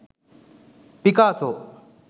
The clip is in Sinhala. picasso